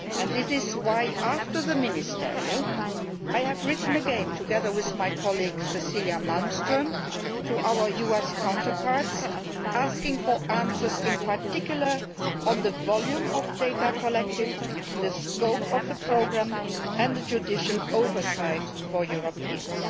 This is why, after the Ministerial Meeting, I wrote again, together with my colleague Cecilia Malmström, to our US counterparts asking for answers, in particular on the volume of data collected, the scope of the programmes and the judicial oversight for Europeans.